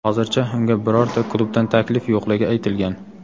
Hozircha unga birorta klubdan taklif yo‘qligi aytilgan.